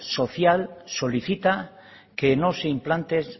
social solicita que no se implante